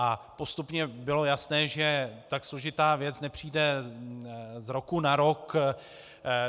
A postupně bylo jasné, že tak složitá věc nepřijde z roku na rok.